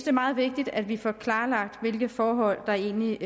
er meget vigtigt at vi får klarlagt hvilke forhold der egentlig